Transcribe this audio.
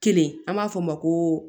Kelen an b'a fɔ o ma ko